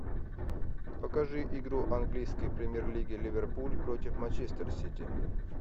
покажи игру английской премьер лиги ливерпуль против манчестер сити